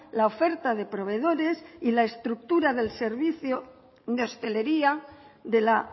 la oferta de proveedores y la estructura del servicio de hostelería de la